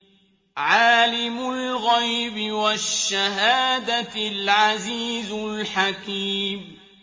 عَالِمُ الْغَيْبِ وَالشَّهَادَةِ الْعَزِيزُ الْحَكِيمُ